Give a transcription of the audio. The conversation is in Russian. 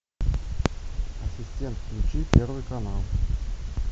ассистент включи первый канал